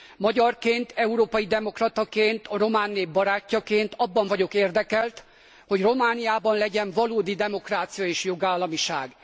Magyarként, európai demokrataként, a román nép barátjaként abban vagyok érdekelt, hogy Romániában legyen valódi demokrácia és jogállamiság.